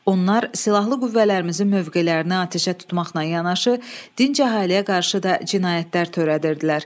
Onlar silahlı qüvvələrimizin mövqelərinə atəşə tutmaqla yanaşı, dinc əhaləyə qarşı da cinayətlər törədirdilər.